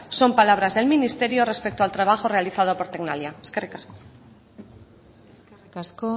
son palabras del ministerio respecto al trabajo realizado por tecnalia eskerrik asko eskerrik asko